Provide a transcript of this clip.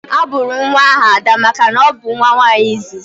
A bụrụ nwa ahụ Ada makana ọ bụ nwa nwaanyị izizi